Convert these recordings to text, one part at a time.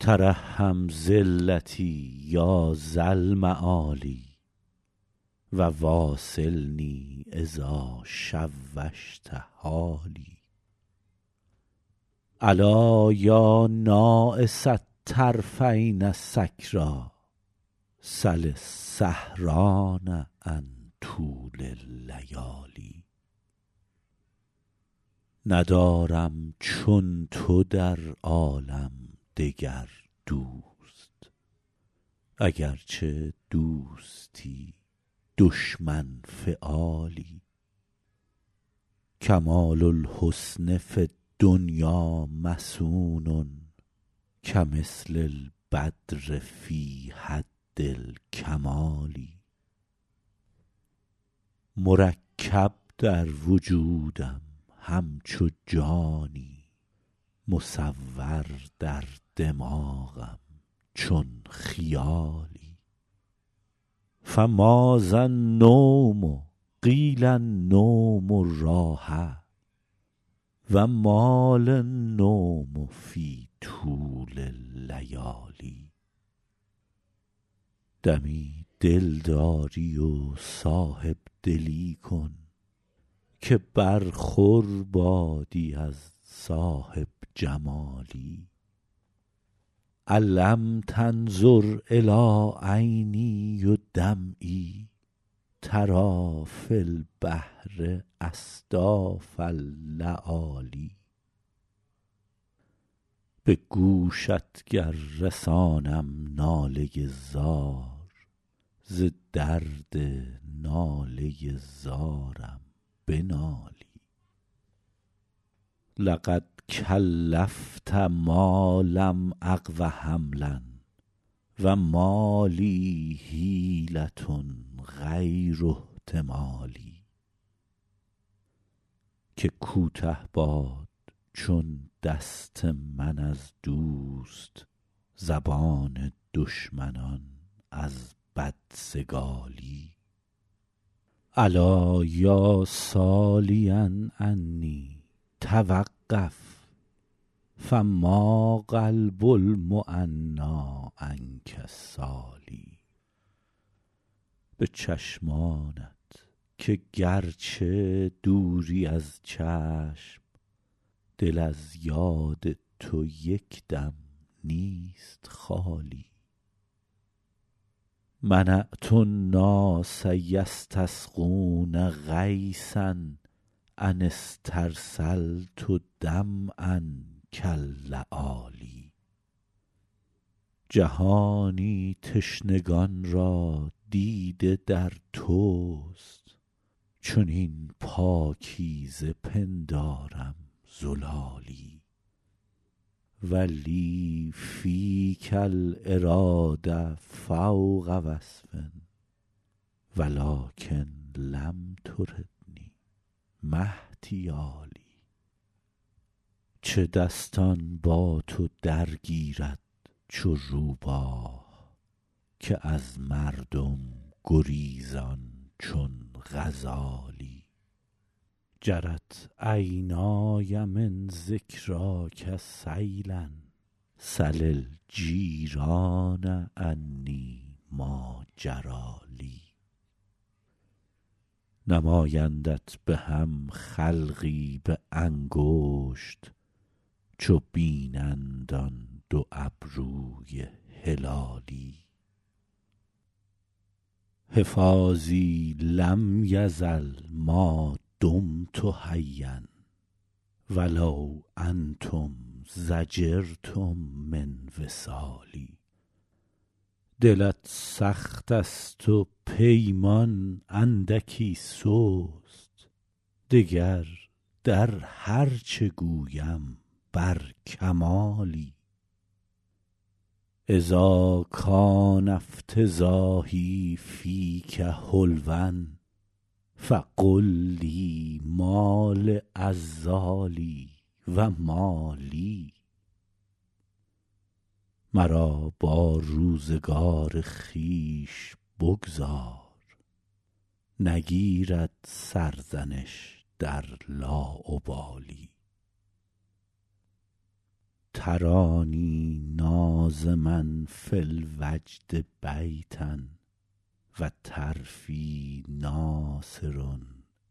ترحم ذلتی یا ذا المعالی و واصلنی اذا شوشت حالی ألا یا ناعس الطرفین سکریٰ سل السهران عن طول اللیالی ندارم چون تو در عالم دگر دوست اگرچه دوستی دشمن فعالی کمال الحسن فی الدنیا مصون کمثل البدر فی حد الکمال مرکب در وجودم همچو جانی مصور در دماغم چون خیالی فماذا النوم قیل النوم راحه و ما لی النوم فی طول اللیالی دمی دلداری و صاحب دلی کن که برخور بادی از صاحب جمالی ألم تنظر إلی عینی و دمعی تری فی البحر أصداف اللآلی به گوشت گر رسانم ناله زار ز درد ناله زارم بنالی لقد کلفت ما لم أقو حملا و ما لی حیلة غیر احتمالی که کوته باد چون دست من از دوست زبان دشمنان از بدسگالی الا یا سالیا عنی توقف فما قلب المعنیٰ عنک سال به چشمانت که گرچه دوری از چشم دل از یاد تو یک دم نیست خالی منعت الناس یستسقون غیثا أن استرسلت دمعا کاللآلی جهانی تشنگان را دیده در توست چنین پاکیزه پندارم زلالی و لی فیک الإراده فوق وصف و لکن لم تردنی ما احتیالی چه دستان با تو درگیرد چو روباه که از مردم گریزان چون غزالی جرت عینای من ذکراک سیلا سل الجیران عنی ما جری لی نمایندت به هم خلقی به انگشت چو بینند آن دو ابروی هلالی حفاظی لم یزل ما دمت حیا و لو انتم ضجرتم من وصالی دلت سخت است و پیمان اندکی سست دگر در هر چه گویم بر کمالی اذا کان افتضاحی فیک حلوا فقل لی ما لعذالی و ما لی مرا با روزگار خویش بگذار نگیرد سرزنش در لاابالی ترانی ناظما فی الوجد بیتا و طرفی ناثر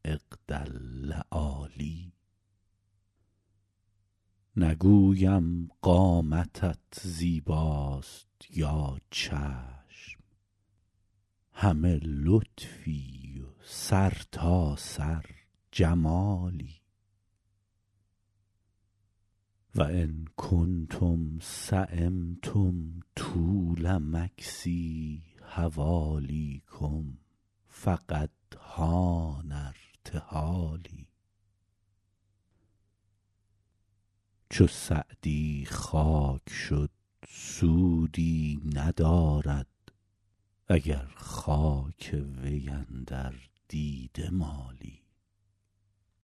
عقد اللآلی نگویم قامتت زیباست یا چشم همه لطفی و سرتاسر جمالی و ان کنتم سیمتم طول مکثی حوالیکم فقد حان ارتحالی چو سعدی خاک شد سودی ندارد اگر خاک وی اندر دیده مالی